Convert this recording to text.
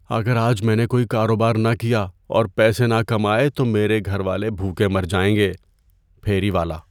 اگر آج میں نے کوئی کاروبار نہ کیا اور پیسے نہ کمائے تو میرے گھر والے بھوکے مر جائیں گے۔ (پھیری والا)